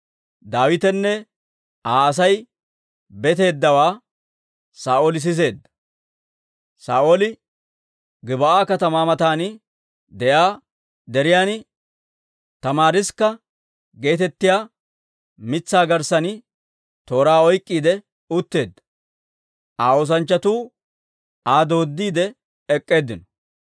Daawitenne Aa Asay beetteeddawaa Saa'ooli siseedda; Saa'ooli Gib'aa katamaa matan de'iyaa deriyaan, tamaariskka geetettiyaa mitsaa garssan tooraa oyk'k'iide utteedda; Aa oosanchchatuu Aa dooddiide ek'k'eeddinno.